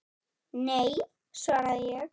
Nei, svaraði ég.